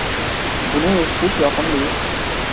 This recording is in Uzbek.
Buni eshitish yoqimli.